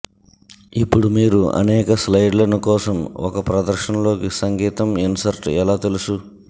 ఇప్పుడు మీరు అనేక స్లయిడ్లను కోసం ఒక ప్రదర్శన లోకి సంగీతం ఇన్సర్ట్ ఎలా తెలుసు